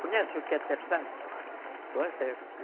Conhece o que é o terçado?